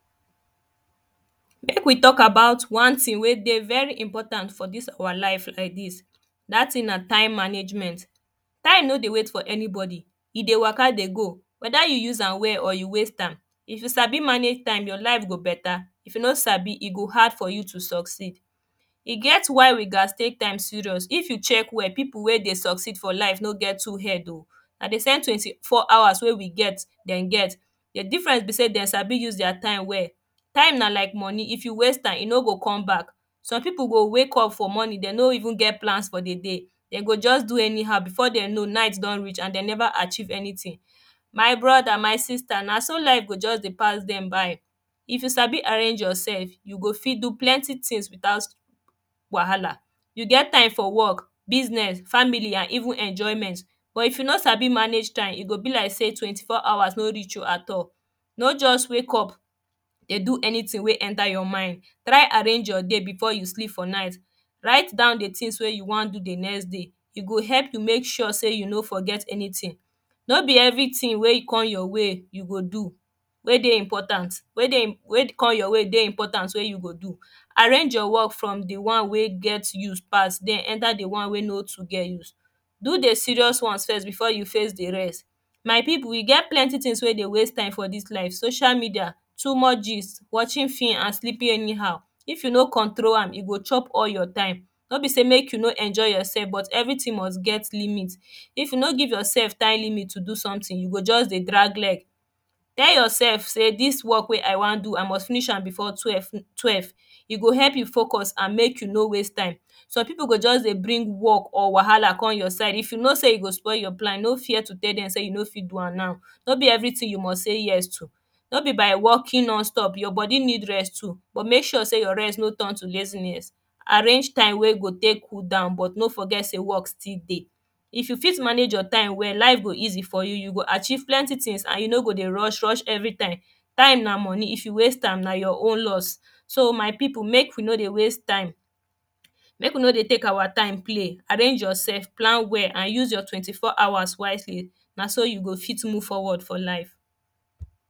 make we talk about one thing wet dey very important for this our life like this that thing na time managemnet time no dey wait for anybody e dey waka dey go weda you use am well or you waste am if you sabi manage time, your life go beta, if you no sabi, e go hard for you to suceed e get why we ghast take time serious. if you check well people wey dey succeed for life no get two head oh na the same 24hours we wey get dem get the diffrence be sey dem sabi use their time well time na like money, if you waste am, e no go come back. some people go wake up for morning, dem no even get plans for the day dem go just do anyhow, before dem know night don reach and dem never achieve anything my brother, my sister, na so life go just dey pass dem by if you sabi arrange yourself well, you go fit do plenty things without wahala you go get time work, business, family and even enjoyment but if you no sabi manage time e go be like say 24hours no reach you at all no just wake up dey do anything wey enter your mind try arrange your day before yousef for night write down the tings wey yiu wan do the next day e go help you make you make sure sey you no forget anything no be evertin wey come your way you go do wey dey important, wey come your way dey important wey you go do arrange your work from the one wey get use pass then enter the one wey no too get use do the serius ones first before you face the rest my people, e get plenty tins wey dey waste time for this life, social media, too much gist, watching film and sleeping anyhow if you no control am, e go chop all your time. no be say make you no enjoy yoursef everytin must get limit if you no give yoursef time limit to do sometin, you go just dey drag leg tell yoursef say this work wey i wan do, i must finish am before twelve e o help you focus and help you no waste time some people go just dey bring work or wahala come your side. if you know sey e go spoil your plan, no fear to tell dem say you no fit do am now no be everytin you must say yes to no be by workin none stop, your body need rest too. but make sure say your rest no turn to laziness arrange time wey go take cool down but no forget sey work still dey if you fit manange your time well, life go easy for you, you go achieve plenty tins and you no go dey rush rush everytime time na money, if you waste am na your own loss so my people, make you no dey waste time make we no dey take our time play arrange yoursef plan well and use your 24 hours wisely na so you go fit move forward for life